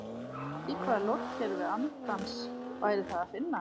Í hvaða lotukerfi andans væri það að finna?